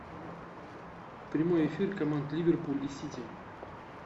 прямой эфир команд ливерпуль и сити